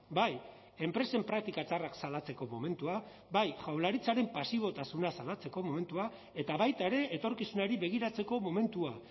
bai enpresen praktika txarrak salatzeko momentua bai jaurlaritzaren pasibotasuna salatzeko momentua eta baita ere etorkizunari begiratzeko momentua